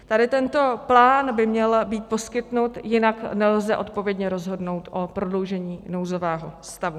Tady tento plán by měl být poskytnut, jinak nelze odpovědně rozhodnout o prodloužení nouzového stavu.